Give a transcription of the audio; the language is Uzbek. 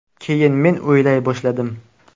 Keyin men o‘ylay boshladim.